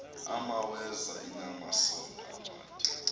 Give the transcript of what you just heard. imaweza inamasond amade